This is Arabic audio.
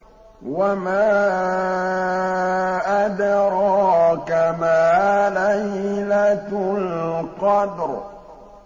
وَمَا أَدْرَاكَ مَا لَيْلَةُ الْقَدْرِ